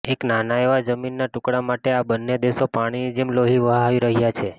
એક નાના એવા જમીનના ટુકડા માટે આ બન્ને દેશો પાણીની જેમ લોહી વહાવી રહ્યાં છે